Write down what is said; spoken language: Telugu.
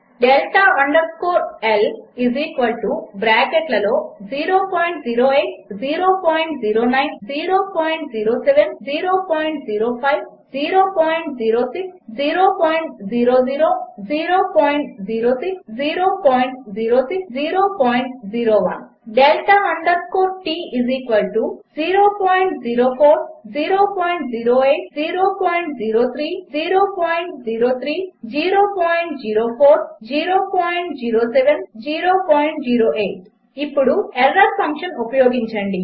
డెల్టా అండర్ స్కోర్ L బ్రాకెట్లలో 008009007005006000006006001 డెల్టా అండర్ స్కోర్ T 004008003005003003004007008 ఇప్పుడు ఎర్రర్ ఫంక్షన్ ఉపయోగించండి